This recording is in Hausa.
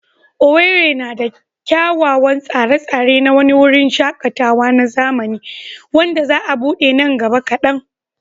Owerri na da kyawawan tsare-tsare na wani wurin shaƙatawa na zamani wanda za a buɗe nan gaba kadan.